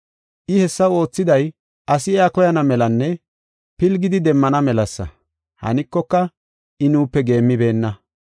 I hessa oothiday asi iya koyana melanne pilgidi demmana melasa. Hanikoka I nuupe geemmibeenna.